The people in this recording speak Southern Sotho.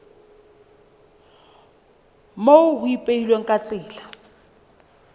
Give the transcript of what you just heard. moo ho ipehilweng ka tsela